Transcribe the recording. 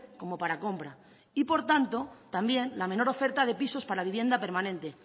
como para compra y por tanto también la menor oferta de pisos para vivienda permanente